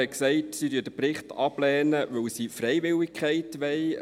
: Er hat gesagt, sie lehnen den Bericht ab, weil sie Freiwilligkeit wollen.